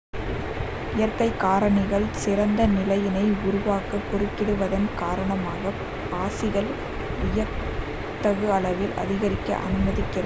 இயற்கை காரணிகள் சிறந்த நிலையினை உருவாக்க குறுக்கிடுவதன் காரணமாக பாசிகள் வியத்தகு அளவில் அதிகரிக்க அனுமதிக்கிறது